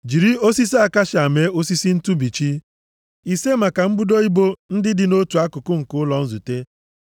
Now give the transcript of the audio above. “Jiri osisi akashia mee osisi ntụbichi, ise maka mbudo ibo ndị dị nʼotu akụkụ nke ụlọ nzute,